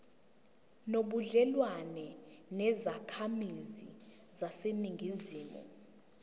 nobudlelwane nezakhamizi zaseningizimu